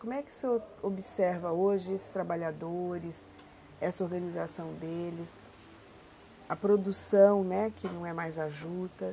Como é que o senhor observa hoje esses trabalhadores, essa organização deles, a produção, né, que não é mais a juta?